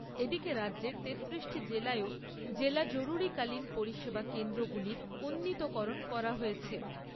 এদিকে রাজ্যের তেত্তিরিশটি জেলাতেও জরুরীকালীন পরিষেবা কেন্দ্রগুলির উন্নীতকরণ করা হয়েছে।